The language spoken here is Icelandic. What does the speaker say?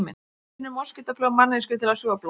Hvernig finnur moskítófluga manneskju til að sjúga blóð?